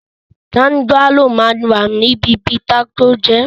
Tánjálò ma wà ní bíbí kató jẹẹ́.